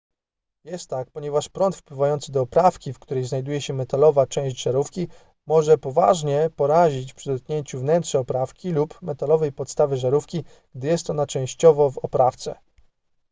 jest tak ponieważ prąd wpływający do oprawki w której znajduje się metalowa część żarówki może poważnie porazić przy dotknięciu wnętrza oprawki lub metalowej podstawy żarówki gdy jest ona częściowo w oprawce